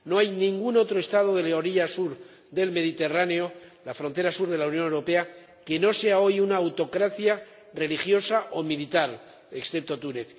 no hay ningún otro Estado de la orilla sur del Mediterráneo ―la frontera sur de la Unión Europea― que no sea hoy una autocracia religiosa o militar, excepto Túnez